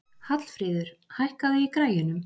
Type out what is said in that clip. Hallfríður, hækkaðu í græjunum.